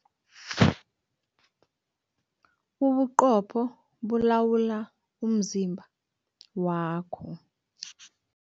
Ubuqopho bulawula umzimba wakho.